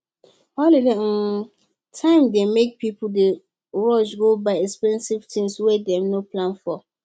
holiday time dey make people dey rush go buy expensive things wey dem no plan for